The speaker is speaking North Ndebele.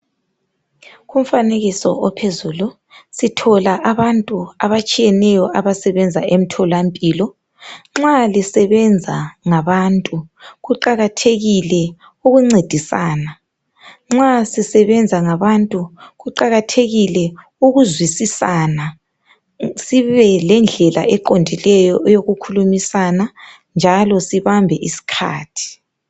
Kumfanekiso ophezulu sithola abantu abatshiyeneyo abasebenza emtholampilo. Nxa lisebenza ngabantu kuqakathekile ukuncedisana. Nxa sisebenza ngabantu kuqakathekile ukuzwisisana, sibelendlela eqondileyo eyokukhulumisana njalo sibambe isikhathi.